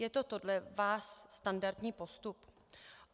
Je to podle vás standardní postup?